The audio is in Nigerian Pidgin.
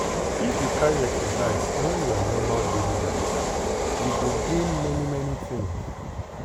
if you carry exercise join your normal daily life you go gain many many things.